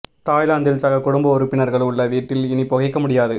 தாய்லாந்தில் சக குடும்ப உறுப்பினர்கள் உள்ள வீட்டில் இனி புகைக்க முடியாது